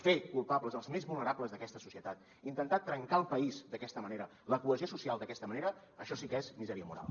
fer culpables els més vulnerables d’aquesta societat intentar trencar el país d’aquesta manera la cohesió social d’aquesta manera això sí que és misèria moral